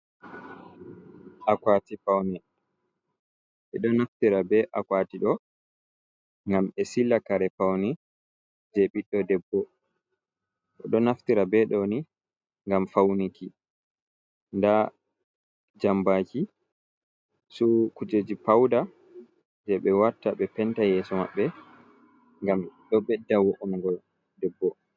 Akwati paune, ɓe ɗon naftira be akwati ɗo, ngam ɓe siila kare paune, je ɓiɗɗo debbo, ɓe ɗo naftira be ɗoni ngam faunuki. Nda jambaki, su kuujeji pauda je ɓe watta ɓe penta yeeso maɓɓe, ngam ɗo bedda wo'ongo debbo.